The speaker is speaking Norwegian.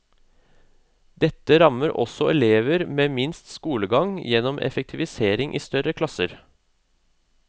Dette rammer også elever med minst skolegang gjennom effektivisering i større klasser.